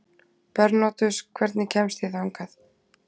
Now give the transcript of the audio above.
Bernódus, hvernig kemst ég þangað?